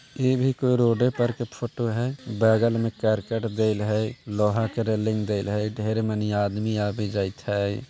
ये भी कोई रोड पर के फोटो है बगल मे करकट दैल है लोहा का रेलिंग देल है ढेर मनी आदमी यावी जाईत है।